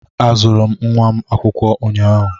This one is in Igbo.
Azụrụ m nwa m akwụkwọ ụnyaahụ.